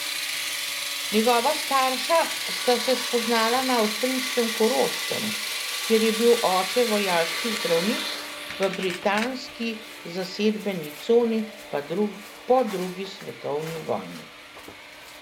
Njegova starša sta se spoznala na avstrijskem Koroškem, kjer je bil oče vojaški zdravnik v britanski zasedbeni coni po drugi svetovni vojni.